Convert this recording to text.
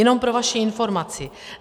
Jenom pro vaši informaci.